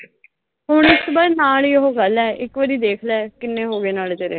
ਹੁਣ ਨਾਲ ਈ ਉਹੋ ਕਰਲਾ, ਇਕ ਵਾਰੀ ਦੇਖ ਲਾ, ਕਿੰਨੇ ਹੋਗੇ ਨਾਲੇ ਤੇਰੇ।